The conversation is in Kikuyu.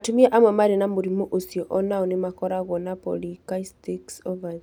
Atumia amwe marĩ na mũrimũ ũcio o nao nĩ makoragwo na polycystic ovary.